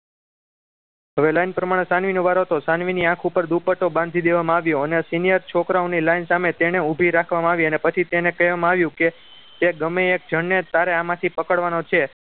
હવે line પ્રમાણે સાનવી નો વારો હતો સાનવીની આંખ ઉપર દુપટ્ટો બાંધી દેવામાં આવ્યોઅને senior છોકરાઓને line સામે ઉભી રાખવામાં આવી અને પછી તેને કહેવામાં આવ્યું કે તે ગમે એ એક જણને તારે આમાંથી પકડવાનો છે